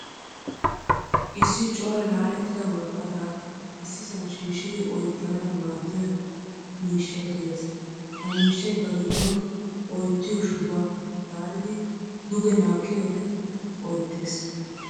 Issi cora laalettida worqqata issisan shiishidi oyttanawu maadiya miishshay de'ees. Ha miishshay ba giddon oyttiya shubuwaa baaridi duge naaqiyode oyttees.